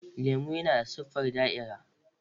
Orange yana da siffar da'irar.